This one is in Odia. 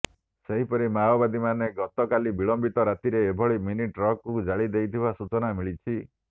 ସେହିପରି ମାଓବାଦୀମାନେ ଗତକାଲି ବିଳମ୍ବିତ ରାତିରେ ଏକ ମିନି ଟ୍ରକକୁ ଜାଳି ଦେଇଥିବା ସୂଚନା ମିଳିଛି